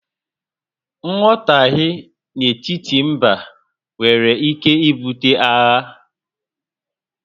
Nghọtahie n'etiti mbá nwèrè ike ibute àghà